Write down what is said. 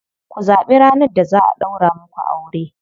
Ku zaɓi ranar da za a ɗaura muku aure.